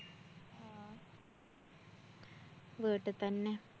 വീട്ടിതന്നെ.